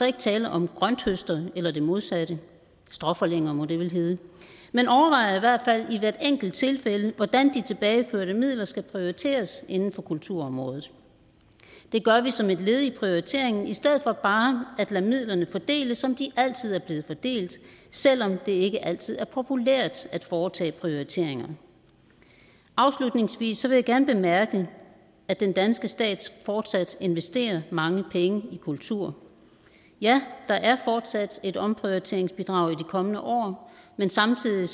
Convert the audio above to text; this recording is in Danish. ikke tale om grønthøster eller det modsatte stråforlænger må det vel hedde man overvejer i hvert fald i hvert enkelt tilfælde hvordan de tilbageførte midler skal prioriteres inden for kulturområdet det gør vi som et led i prioriteringen i stedet for bare at lade midlerne fordeles som det altid er blevet fordelt selv om det ikke altid er populært at foretage prioriteringer afslutningsvis vil jeg gerne bemærke at den danske stat fortsat investerer mange penge i kultur ja der er fortsat et omprioriteringsbidrag i de kommende år men samtidig